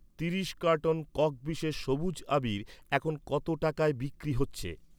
তিরিশ কার্টন কক বিশেষ সবুজ আবীর এখন কত টাকায় বিক্রি হচ্ছে?